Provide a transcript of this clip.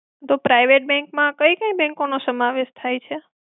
તો private bank માં કઈ-કઈ bank નો સમાવેશ થાય છે?